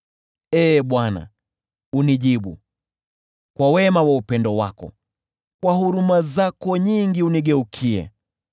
Ee Bwana , unijibu, kwa wema wa upendo wako; kwa huruma zako nyingi unigeukie.